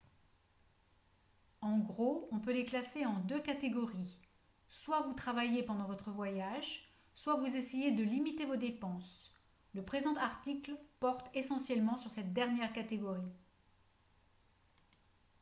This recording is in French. en gros on peut les classer en deux catégories soit vous travaillez pendant votre voyage soit vous essayez de limiter vos dépenses le présent article porte essentiellement sur cette dernière catégorie